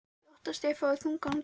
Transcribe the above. Ég óttast að ég fái þungan dóm.